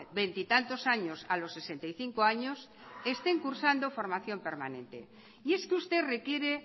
veintitantos años a los sesenta y cinco años estén cursando formación permanente y es que usted requiere